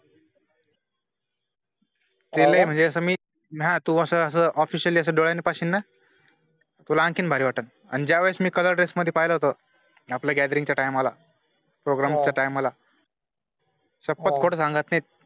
ना तू असं असं officially डोळ्यांनी पाहशीलना, तुला आँकीन भारी वाटलं. अन ज्यावेळेस मी color dress मध्ये पहिला होतं आपला gathering च्या time ला, program time ला, फक्त सांगत नैत